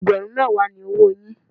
Ẹgbẹ̀rún mẹ́wàá ni owóo yín.